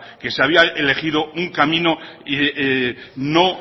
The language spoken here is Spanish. que se había elegido un camino no